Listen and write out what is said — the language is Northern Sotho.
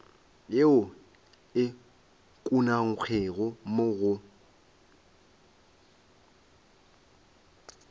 yeo e ukangwego mo go